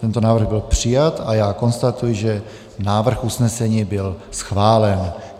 Tento návrh byl přijat a já konstatuji, že návrh usnesení byl schválen.